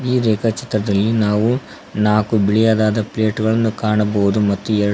ಈ ರೇಖಾ ಚಿತ್ರದಲ್ಲಿ ನಾವು ನಾಲ್ಕು ಬಿಳಿಯದಾದ ಪ್ಲೇಟ್ ಗಳನ್ನು ಕಾಣಬಹುದು ಮತ್ತು ಎರಡು --